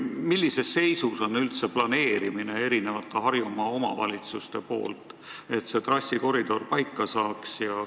Millises seisus on üldse Harjumaa omavalitsuste tehtav planeerimistöö, et see trassikoridor paika saaks?